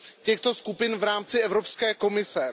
těchto skupin v rámci Evropské komise.